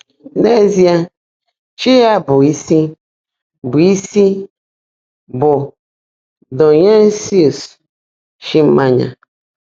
N'ezie, chi ya bụ́ isi bụ́ isi bụ Dionysus, chi mmanya.